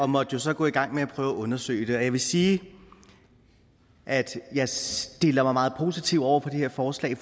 måtte jo så gå i gang med at undersøge det jeg vil sige at jeg stiller mig meget positivt over for det her forslag